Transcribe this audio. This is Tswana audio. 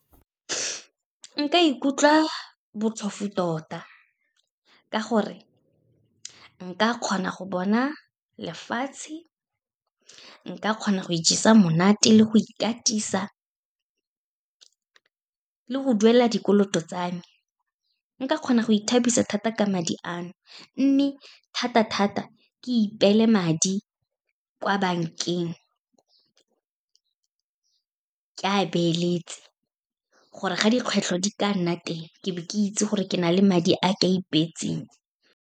Nka ikutlwa botlhofo tota, ka gore nka kgona go bona lefatshe, nka kgona go ijesa monate le go ikatisa, le go duela dikoloto tsa me. Nka kgona go ithabisa thata ka madi ano, mme thata-thata, ke ipeele madi kwa bankeng, ke a beeletse, gore ga dikgwetlho di ka nna teng, ke be ke itse gore ke na le madi a ka ipeetseng.